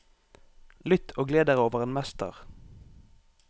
Lytt og gled dere over en mester.